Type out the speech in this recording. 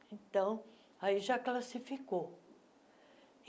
Então, aí já classificou.